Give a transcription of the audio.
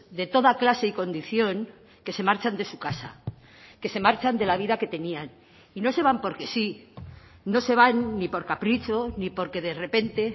de toda clase y condición que se marchan de su casa que se marchan de la vida que tenían y no se van porque sí no se van ni por capricho ni porque de repente